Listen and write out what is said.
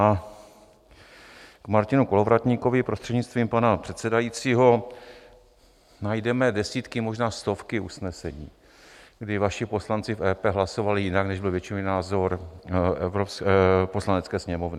A k Martinu Kolovratníkovi, prostřednictvím pana předsedajícího: najdeme desítky, možná stovky usnesení, kdy vaši poslanci v EP hlasovali jinak, než byl většinový názor Poslanecké sněmovny.